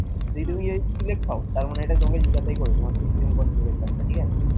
যদি তুমি যদি select হও, তার মানে এটা তোমাকে জিজ্ঞাসা করবেই তোমার system configuration টা ঠিক আছে?